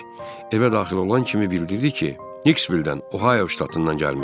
Evə daxil olan kimi bildirdi ki, Nikkvildən, Ohaayo ştatından gəlmişdi.